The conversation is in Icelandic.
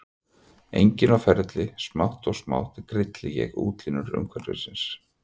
Enginn á ferli, smátt og smátt grilli ég útlínur umhverfisins.